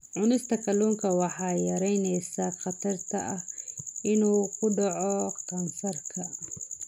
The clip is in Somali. Cunista kalluunka waxay yaraynaysaa khatarta ah inuu ku dhaco kansarka.